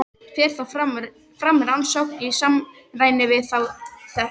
Fer þá fram rannsókn í samræmi við þá samþykkt.